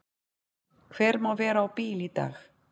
Hver má vera á bíl í dag?